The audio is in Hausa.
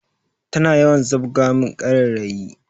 Tana yawan zabga min karairayi